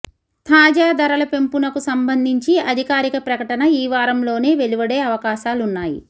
తాజా ధరల పెంపునకు సంబంధించి అధికారిక ప్రకటన ఈ వారంలోనే వెలువడే అవకాశాలున్నాయి